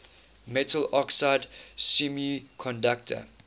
metal oxide semiconductor